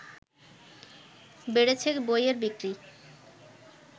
বেড়েছে বইয়ের বিক্রি